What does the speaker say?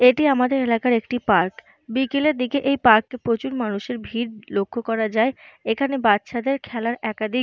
এটি আমাদের এলাকার একটি পার্ক । বিকেলের দিকে এই পার্ক -এ প্রচুর মানুষের ভিড় লক্ষ্য করা যায়। এখানে বাচ্চাদের খেলার একাধিক --